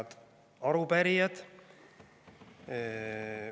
Head arupärijad!